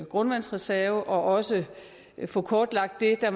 grundvandsreserve og også få kortlagt det der